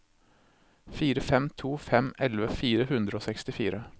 fire fem to fem elleve fire hundre og sekstifire